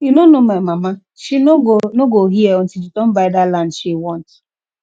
you no know my mama she no go no go hear until she don buy dat land she want